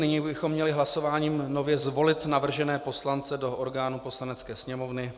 Nyní bychom měli hlasováním nově zvolit navržené poslance do orgánů Poslanecké sněmovny.